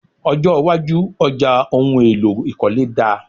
Ọjọ́ iwájú ọjà ohun èlò ìkọ́lé dáa.